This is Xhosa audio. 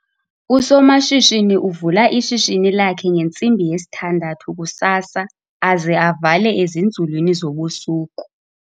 Usomashishini uvula ishishini lakhe ngentsimbi yesithandathu kusasa aze avale ezinzulwini zobusuku.